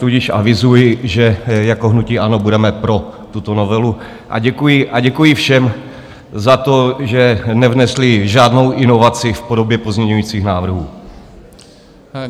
Tudíž avizuji, že jako hnutí ANO budeme pro tuto novelu, a děkuji všem za to, že nevnesli žádnou inovaci v podobě pozměňovacích návrhů.